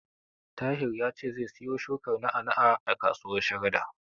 Tahir ya ce zai siyo shukar na'a-na'a a kasuwar Sharada.